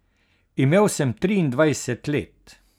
Imel sem triindvajset let.